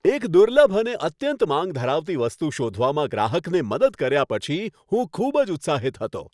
એક દુર્લભ અને અત્યંત માંગ ધરાવતી વસ્તુ શોધવામાં ગ્રાહકને મદદ કર્યા પછી, હું ખૂબ જ ઉત્સાહિત હતો.